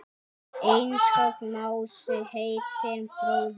Einsog Mási heitinn bróðir.